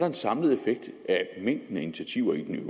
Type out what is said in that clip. en samlet effekt af mængden af initiativer i den